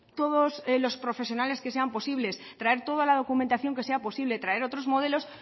todos los profesionales que sean posibles traer toda la documentación que sea posible traer otros modelos